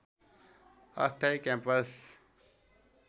अस्थायी क्याम्पस